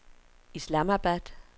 Islamabad